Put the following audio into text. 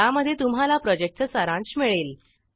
ज्यामध्ये तुम्हाला प्रॉजेक्टचा सारांश मिळेल